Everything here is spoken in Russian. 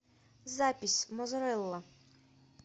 запись мозарелла